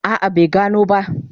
A'a bai gano ba.